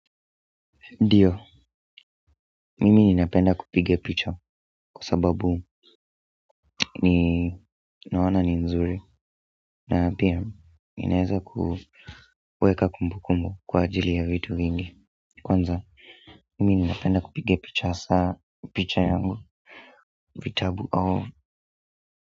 Ndiyo, mimi ninapenda kupiga picha kwa sababu ninaona ni nzuri na pia inaeza kuweka kumbu kumbu kwa ajili ya vitu vingi. Kwanza mimi ninapenda kupiga picha saa picha yangu vitabu au.